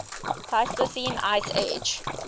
pleistocene ice age